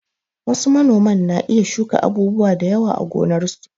Wasu manoman na iya shuka abubuwa da yawa a gonarsu.